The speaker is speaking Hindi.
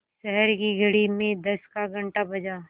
शहर की घड़ी में दस का घण्टा बजा